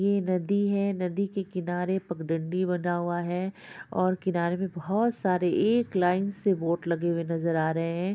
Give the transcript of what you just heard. ये नदी है | नदी के किनारे पगडंडी बना हुआ है और किनार पे बहुत सारे एक लाइन से बोट लगे हुए नजर आ रहे हैं ।